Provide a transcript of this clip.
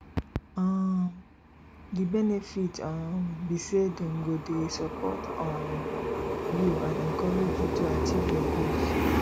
um di benefit um be say dem go dey support um you and encourage you to achieve your goals